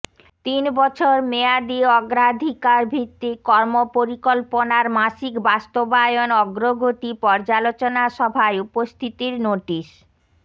তিনবছর মেয়াদি অগ্রাধিকারভিত্তিক কর্মপরিকল্পনার মাসিক বাস্তবায়ন অগ্রগতি পর্যালোচনা সভায় উপস্থিতির নোটিশ